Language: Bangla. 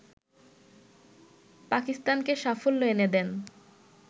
পাকিস্তানকে সাফল্য এনে দেন